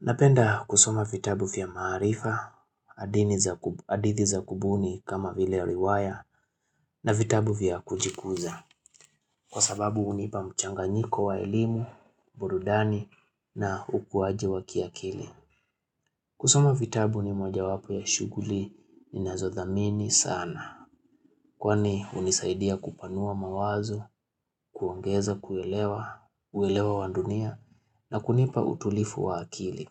Napenda kusoma vitabu vya maarifa, hadithi za kubuni kama vile ya riwaya na vitabu vya kujikuza. Kwa sababu hunipa mchanganyiko wa elimu, burudani na ukuaji wa kiakili. Kusoma vitabu ni mwojawapo ya shuguli ninazothamini sana. Kwani hunisaidia kupanua mawazo, kuongeza kuelewa, uelewa wa dunia na kunipa utulivu wa akili.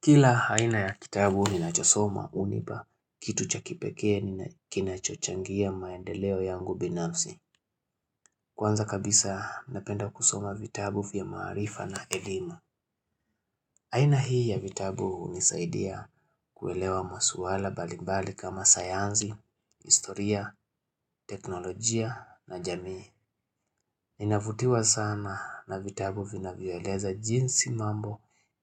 Kila aina ya kitabu ni nachosoma hunipa, kitu cha kipekee kinachochangia maendeleo yangu binafsi. Kwanza kabisa napenda kusoma vitabu vya maarifa na elimu. Aina hii ya vitabu hunisaidia kuelewa masuala mbalimbali kama sayansi, historia, teknolojia na jamii. Ninavutiwa sana na vitabu vinavyoeleza jinsi mambo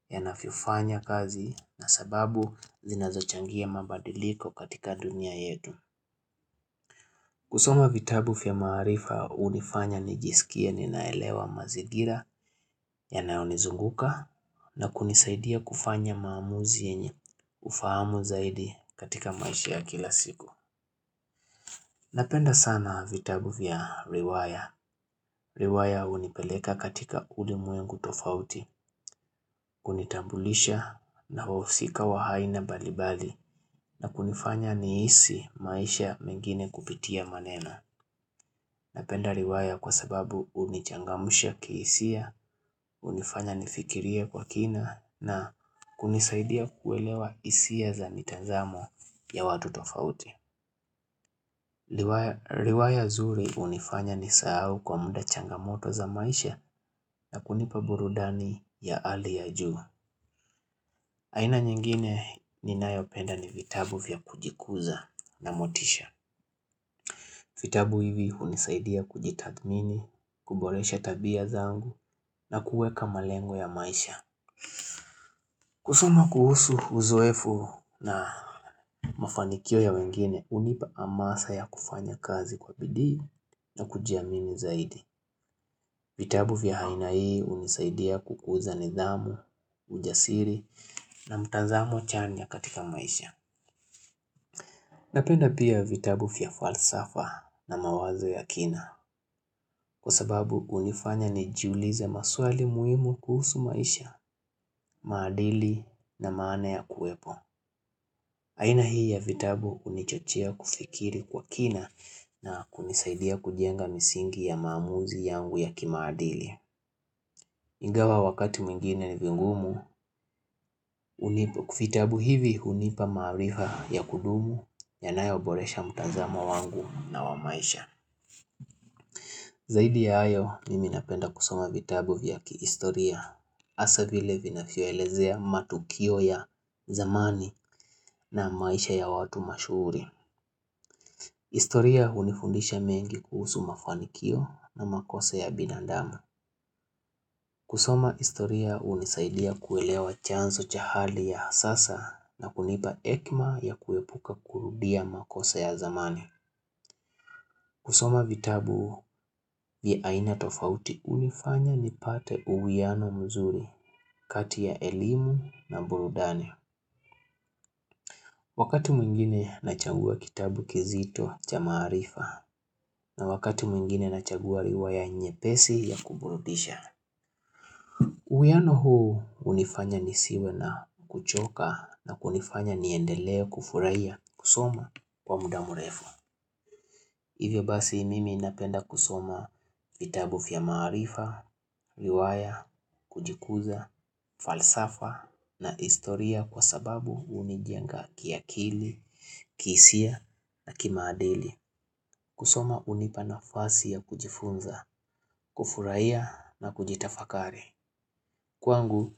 yanavyofanya kazi na sababu zinazochangia mabadiliko katika dunia yetu. Kusoma vitabu vya maarifa hunifanya nijisikie ninaelewa mazingira yanayonizunguka na kunisaidia kufanya maamuzi yenye ufahamu zaidi katika maisha ya kila siku. Napenda sana vitabu vya riwaya. Riwaya hunipeleka katika ulimwengu tofauti, hunitambulisha na wahusika wa aina mbalimbali na kunifanya nihisi maisha mengine kupitia maneno. Napenda riwaya kwa sababu hunichangamsha kihisia, hunifanya nifikirie kwa kina na kunisaidia kuelewa hisia za mitazamo ya watu tofauti. Riwaya zuri hunifanya nisahau kwa muda changamoto za maisha na kunipa burudani ya hali ya juu aina nyingine ninayopenda ni vitabu vya kujikuza na motisha vitabu hivi hunisaidia kujitathmini, kuboresha tabia zangu na kuweka malengo ya maisha kusoma kuhusu uzoefu na mafanikio ya wengine hunipa amasa ya kufanya kazi kwa bidii na kujiamini zaidi vitabu vya haina hii unisaidia kukuza nidhamu, ujasiri na mtazamo chanya katika maisha. Napenda pia vitabu vya falsafa na mawazo ya kina kwa sababu hunifanya nijulize maswali muhimu kuhusu maisha, maadili na maana ya kuwepo. Aina hii ya vitabu hunichochea kufikiri kwa kina na kunisaidia kujenga misingi ya maamuzi yangu ya kimaadili. Ingawa wakati mwingine ni vigumu, vitabu hivi hunipa maarifa ya kudumu yanayoboresha mtazamo wangu na wa maisha. Zaidi ya hayo, mimi napenda kusoma vitabu vya kihistoria hasa vile vinavyoelezea matukio ya zamani na maisha ya watu mashuhuri. Historia hunifundisha mengi kuhusu mafanikio na makosa ya binandamu. Kusoma historia hunisaidia kuelewa chanzo cha hali ya sasa na kunipa hekima ya kuepuka kurudia makosa ya zamani kusoma vitabu vya aina tofauti hunifanya nipate uwiano mzuri kati ya elimu na burudani Wakati mwingine nachagua kitabu kizito cha maarifa na wakati mwingine nachagua riwaya nyepesi ya kuburudisha uwiano huu hunifanya nisiwe na kuchoka na kunifanya niendelee kufurahia kusoma kwa muda mrefu Hivyo basi mimi napenda kusoma vitabu vya maarifa, riwaya, kujikuza, falsafa na historia kwa sababu hunijenga kiakili, kihisia na kimaadili kusoma hunipa nafasi ya kujifunza, kufurahia na kujitafakari Kwangu,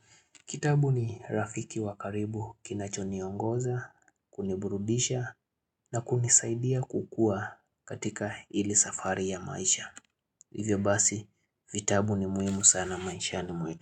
kitabu ni rafiki wa karibu kinacho niongoza, kuniburudisha na kunisaidia kukua katika hili safari ya maisha. Hivyo basi, vitabu ni muhimu sana maishani mwetu.